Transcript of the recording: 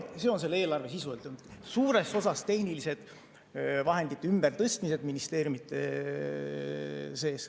See on selle eelarve sisu, suures osas tehnilised vahendite ümbertõstmised ministeeriumide sees.